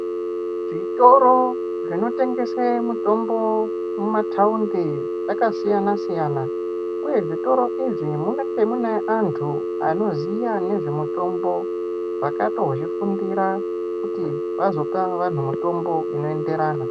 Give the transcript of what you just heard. Zvitoro zvinotengese mutombo mumataundi zvakasiyana-siyana, uye zvitoro izvi munenge mune antu anoziya nezvemitombo akatozvifundira kuti vazope vantu mitombo inoenderana.